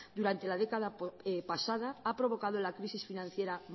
durante la década pasada ha provocado la crisis financiera